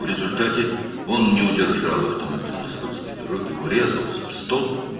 Nəticədə o, sürüşkən yolda avtomobili idarə edə bilmədi, sütuna çırpıldı.